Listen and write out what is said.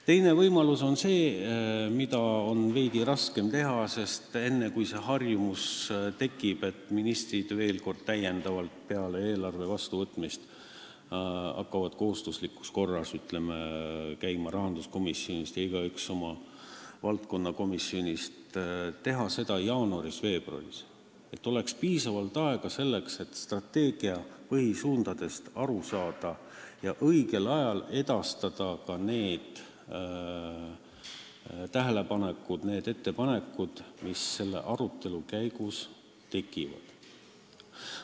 Teine võimalus on – seda on veidi raskem teha, sest on vaja harjumust, et ministrid veel kord täiendavalt peale eelarve vastuvõtmist kohustuslikus korras käivad rahanduskomisjonis ja igaüks oma valdkonna komisjonis – teha seda jaanuaris-veebruaris, et oleks piisavalt aega selleks, et strateegia põhisuundadest aru saada ja õigel ajal edastada tähelepanekud ja ettepanekud, mis selle arutelu käigus tekivad.